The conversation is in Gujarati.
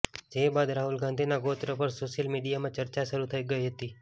જે બાદ રાહુલ ગાંધીના ગોત્ર પર સોશિયલ મીડિયામાં ચર્ચા શરૂ થઈ ગઈ હતી